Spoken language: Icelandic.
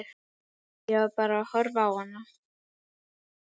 Ég var bara að horfa á hana.